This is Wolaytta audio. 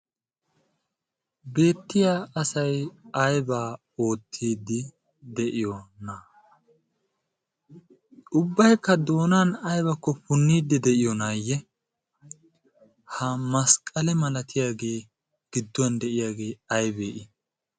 beetiya asay aybba oottide de'iyoona? ubbaykka doona aybbakko puunide de'iyoonayye? ha masqqalle malatiyaage gidduwan de'iyaage aybbe I ?